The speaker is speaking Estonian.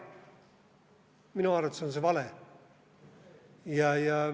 Minu arvates on see vale.